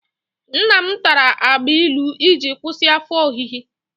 Nnam tara agbailu iji kwụsị afọ ọhịhị.